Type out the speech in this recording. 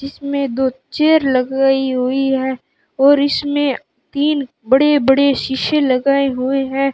इसमें दो चेयर लगाई हुई है और इसमें तीन बड़े-बड़े शीशे लगाए हुए हैं।